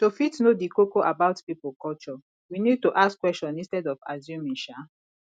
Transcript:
to fit know di koko about pipo culture we need to ask question instead of assuming um